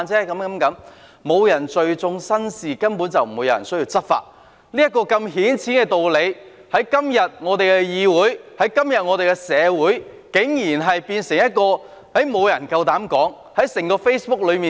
若沒有人聚眾生事，根本便無須執法，這個如此顯淺的道理，在今天的議會、今天的社會，竟然沒有人夠膽說出來。